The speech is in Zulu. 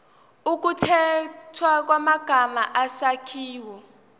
ukukhethwa kwamagama isakhiwo